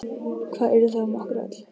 Hvað yrði þá um okkur öll?